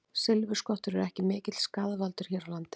Silfurskottur eru ekki mikill skaðvaldur hér á landi.